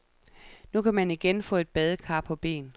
Nu kan man igen få et badekar på ben.